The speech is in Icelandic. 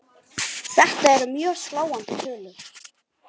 Þetta eru mjög sláandi tölur.